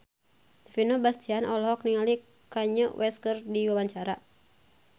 Vino Bastian olohok ningali Kanye West keur diwawancara